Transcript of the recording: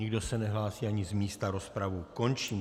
Nikdo se nehlásí ani z místa, rozpravu končím.